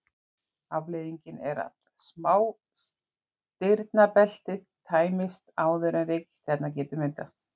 Afleiðingin er að smástirnabeltið tæmist áður en reikistjarna getur myndast.